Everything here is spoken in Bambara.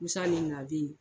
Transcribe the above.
kusa de ye ye.